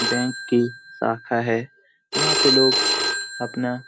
Bank की शाखा है। जहाँ पे लोग अपना --